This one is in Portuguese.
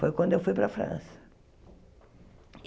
Foi quando eu fui para a França.